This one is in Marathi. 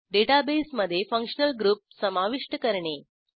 डेटाबेसमधे फंक्शनल ग्रुप समाविष्ट करणे